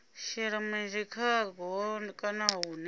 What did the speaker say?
shela mulenzhe khaho kana hune